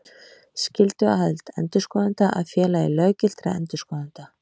Skylduaðild endurskoðenda að Félagi löggiltra endurskoðenda.